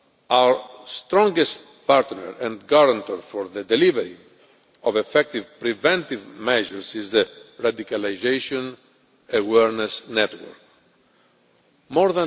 Our strongest partner and guarantor for the delivery of effective preventive measures is the Radicalisation Awareness Network More